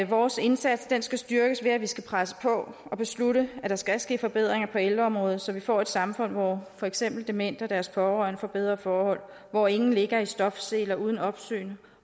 vores indsats skal styrkes ved at vi skal presse på og beslutte at der skal ske forbedringer på ældreområdet så vi får et samfund hvor for eksempel demente og deres pårørende får bedre forhold hvor ingen ligger i stofseler uden opsyn